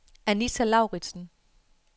Anita Lauritzen